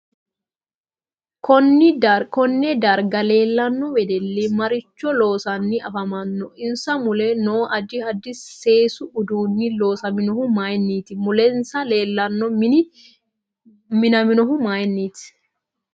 Konne darga leelanno wedelli maricho loosani afamanno insa mule noo addi addi seesu uduuni loosaminohu mayiiniti mulensa leelaonn mini minaminohu mayiiniti